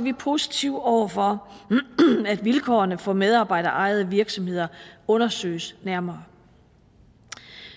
vi positive over for at vilkårene for medarbejderejede virksomheder undersøges nærmere